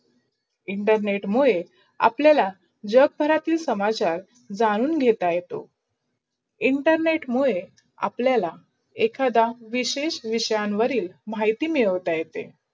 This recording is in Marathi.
internet मुडे आपल्यला जग भरातील समाचार झाणून घेतला येतो. internet मुडे आपलायला एकादा विशेष विषयनावर माहिती मिडते.